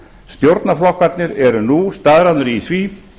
stjórnarflokkarnir eru nú staðráðnir í því